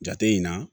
Jate in na